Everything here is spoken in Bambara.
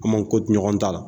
An man ko to ɲɔgɔn ta la